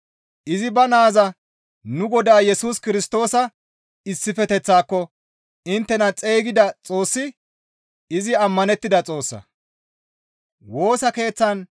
Izi ba naaza nu Godaa Yesus Kirstoosa issifeteththaako inttena xeygida Xoossi izi ammanettida Xoossa.